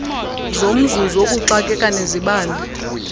zomzuzu wokuxakeka nezibane